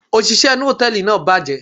òṣìṣẹ́ inú hòtẹ́ẹ̀lì náà bàjẹ́.